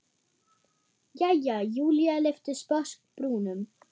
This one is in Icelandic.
Jæja, Júlía lyfti sposk brúnum.